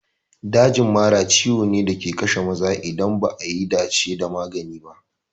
Dajin mara ciwo ne da ke kashe maza in ba a yi dace da magani ba.